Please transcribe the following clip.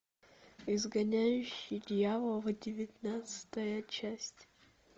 изгоняющий дьявола девятнадцатая часть